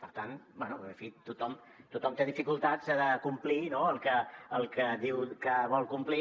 per tant bé en fi tothom té dificultats de complir el que diu que vol complir